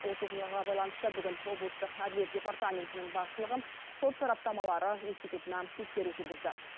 осы оқиғаға байланысты бүгін облыстық әділет департаментінің басшылығы сот сараптамалары институтына тексеру жүргізді